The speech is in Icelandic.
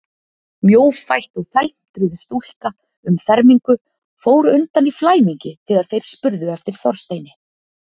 Mjófætt og felmtruð stúlka um fermingu fór undan í flæmingi þegar þeir spurðu eftir Þorsteini.